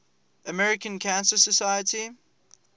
american cancer society